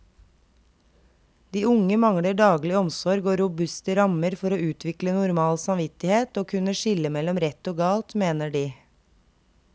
De unge mangler daglig omsorg og robuste rammer for å utvikle normal samvittighet og kunne skille mellom rett og galt, mener de.